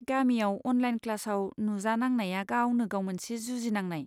गामियाव अनलाइन क्लासाव नुजांनांनाया गावनो गाव मोनसे जुजिनांनाय।